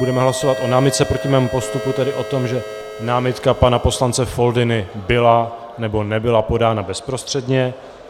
Budeme hlasovat o námitce proti mému postupu, tedy o tom, že námitka pana poslance Foldyny byla nebo nebyla podána bezprostředně.